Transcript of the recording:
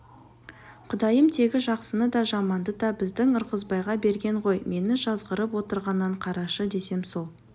құдайым тегі жақсыны да жаманды да біздің ырғызбайға берген ғой мені жазғырып отырғанын қарашы десем ол